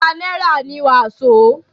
àádọ̀ta náírà ni wàsó.